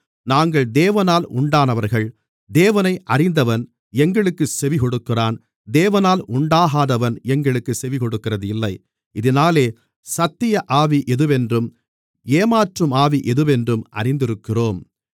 நாங்கள் தேவனால் உண்டானவர்கள் தேவனை அறிந்தவன் எங்களுக்குச் செவிகொடுக்கிறான் தேவனால் உண்டாகாதவன் எங்களுக்குச் செவிகொடுக்கிறதில்லை இதினாலே சத்திய ஆவி எதுவென்றும் ஏமாற்றும் ஆவி எதுவென்றும் அறிந்திருக்கிறோம்